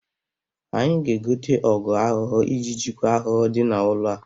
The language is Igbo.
Anyị ga-egote ọgụ ahụhụ iji jikwa ahụhụ dị n'ụlọ a.